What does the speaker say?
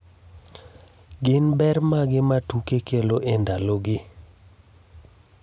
Gin ber mage ma tuke kelo e ndalogi?